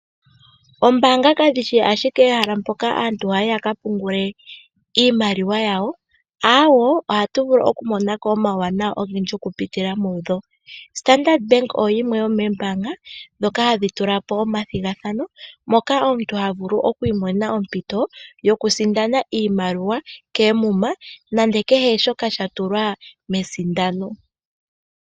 Oombaanga kadhi shi ashike ehala mpoka aantu haya yi ya ka pungule iimaliwa yawo, aawo, ohatu vulu okumona ko omawuwanawa ogendji okupitila mudho. Standard Bank oyo yimwe yomoombaanga ndhoka hadhi tula po omathigathano moka omuntu ha vulu oku imonena ompito yokusindana iimaliwa koomuma nenge kehe shoka sha tulwa mesindano.